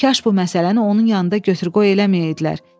Kaş bu məsələni onun yanında götür-qoy eləməyəydilər.